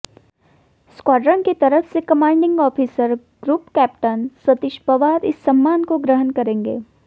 squadron की तरफ से commanding officer group captain Satish Pawar इस सम्मान को ग्रहण करेंगे